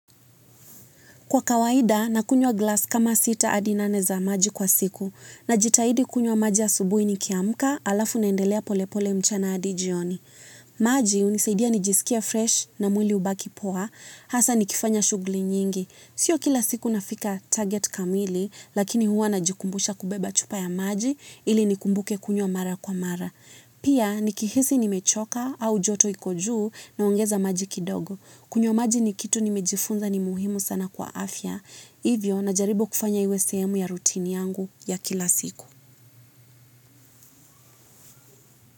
Kwa kawaida, nakunywa glasi kama sita adi nane za maji kwa siku, najitahidi kunywa maji ya asubuhi nikiamka alafu naendelea pole pole mchana adi jioni. Maji hunisaidia nijiskie fresh na mwili ubaki poa hasa nikifanya shughuli nyingi. Sio kila siku nafika target kamili, lakini huwa najikumbusha kubeba chupa ya maji ili nikumbuke kunywa mara kwa mara. Pia, nikihisi nimechoka au joto iko juu naongeza maji kidogo. Kunywa maji ni kitu nimejifunza ni muhimu sana kwa afya, hivyo na jaribu kufanya iwe sehemu ya routine yangu ya kila siku.